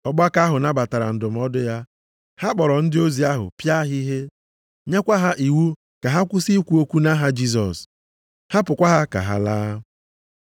Ọgbakọ ahụ nabatara ndụmọdụ ya. Ha kpọrọ ndị ozi ahụ pịa ha ihe, nyekwa ha iwu ka ha kwụsị ikwu okwu nʼaha Jisọs, hapụkwa ha ka ha laa.